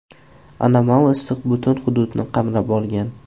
Anomal issiq butun hududni qamrab olgan.